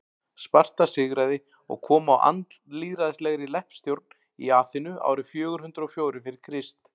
sparta sigraði og kom á andlýðræðislegri leppstjórn í aþenu árið fjögur hundruð og fjórir fyrir krist